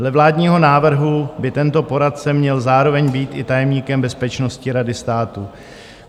Dle vládního návrhu by tento poradce měl zároveň být i tajemníkem Bezpečnostní rady státu.